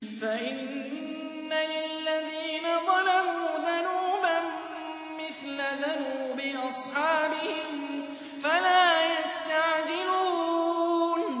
فَإِنَّ لِلَّذِينَ ظَلَمُوا ذَنُوبًا مِّثْلَ ذَنُوبِ أَصْحَابِهِمْ فَلَا يَسْتَعْجِلُونِ